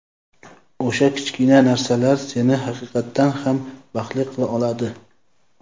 O‘sha kichkina narsalar seni haqiqatdan ham baxtli qila oladi.